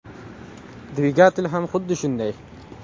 Dvigatel ham xuddi shunday.